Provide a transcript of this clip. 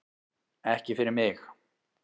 Ekki fyrir mig